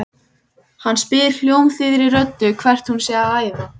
Hann spyr hljómþýðri röddu hvert hún sé að æða.